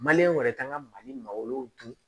Maliyɛn wɛrɛ kan ka mali malo dun